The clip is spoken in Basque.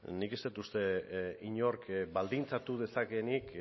nik ez dut uste inork baldintzatu dezakeenik